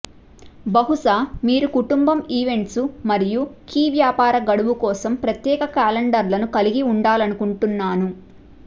బహుశా మీరు కుటుంబం ఈవెంట్స్ మరియు కీ వ్యాపార గడువు కోసం ప్రత్యేక క్యాలెండర్లను కలిగి ఉండాలనుకుంటున్నాను